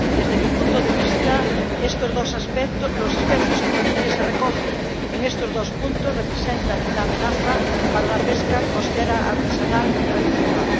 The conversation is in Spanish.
Desde mi punto de vista, los aspectos que se recogen en estos dos apartados representan una amenaza para la pesca costera artesanal y tradicional.